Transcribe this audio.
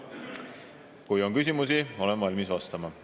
Kui on küsimusi, siis olen valmis vastama.